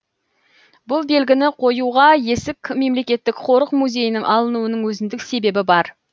бұл белгіні қоюға есік мемлекеттік қорық музейінің алынуының өзіндік себебі бар